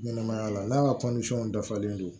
Ɲɛnɛmaya la n'a ka dafalen don